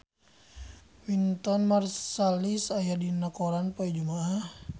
Wynton Marsalis aya dina koran poe Jumaah